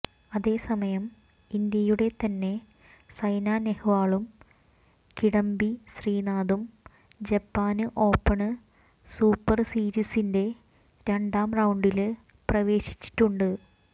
അതേസമയം ഇന്ത്യയുടെ തന്നെ സൈന നെഹ്വാളും കിഡംബി ശ്രീനാഥും ജപ്പാന് ഓപ്പണ് സൂപ്പര് സീരീസിന്റെ രണ്ടാം റൌണ്ടില് പ്രവേശിച്ചിട്ടുണ്ട്